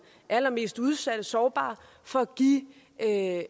er allermest udsatte og sårbare for at